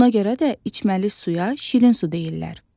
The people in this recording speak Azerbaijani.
Ona görə də içməli suya şirin su deyirlər.